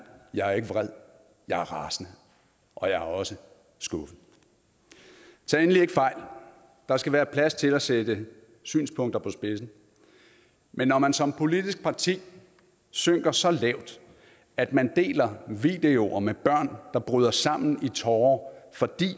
jeg er ikke vred jeg er rasende og jeg er også skuffet tag endelig ikke fejl der skal være plads til at sætte synspunkter på spidsen men når man som politisk parti synker så lavt at man deler videoer med børn der bryder sammen i tårer fordi